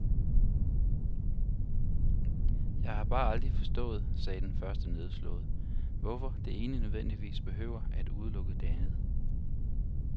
Jeg har bare aldrig forstået, sagde den første nedslået, hvorfor det ene nødvendigvis behøver at udelukke det andet.